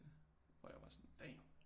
Hvor jeg var sådan damn